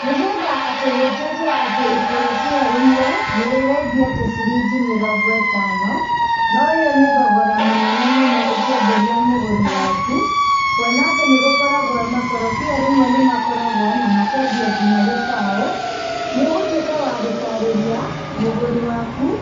Nĩgetha atĩ gũtuĩke atĩ ikorobia rĩmwe nĩrĩrendio atĩ ciringi mĩrongo ĩtano, noũyũ nĩ thogora mũnene mũno ũkĩenderia mũgũri waku, kuona atĩ nĩgũkoragwo makorobia rĩmwe nĩmakoragwo na makendio nginya gĩbaũ, nĩũgũtuĩka wa gũtarĩria mũgũri waku,